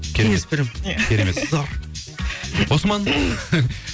кеңес беремін иә осман